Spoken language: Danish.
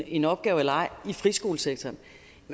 en opgave eller ej i friskolesektoren